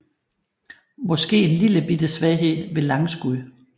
Måske en lillebitte svaghed ved langskud